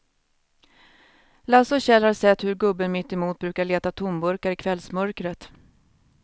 Lasse och Kjell har sett hur gubben mittemot brukar leta tomburkar i kvällsmörkret.